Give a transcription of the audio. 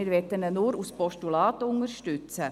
Wir wollen ihn nur als Postulat unterstützen.